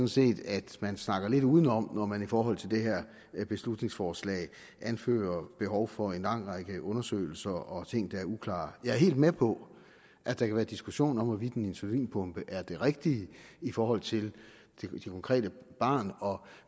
set at man snakker lidt udenom når man i forhold til det her beslutningsforslag anfører at behov for en lang række undersøgelser og at ting der er uklare jeg er helt med på at der kan være diskussion om hvorvidt en insulinpumpe er det rigtige i forhold til det konkrete barn og